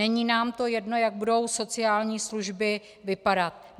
Není nám to jedno, jak budou sociální služby vypadat.